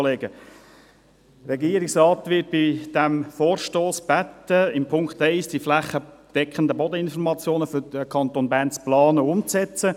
Der Regierungsrat wird in Punkt 1 dieses Vorstosses gebeten, die flächendeckenden Bodeninformationen für den Kanton Bern zu planen und umzusetzen.